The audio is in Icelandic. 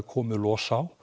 komið los á